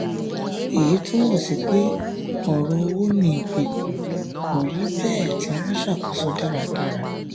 èyí túmọ̀ sí pé ọ̀rọ̀ owó ní ìgbèkùn kò rí bẹ́ẹ̀ tí wọ́n ṣàkóso dáradára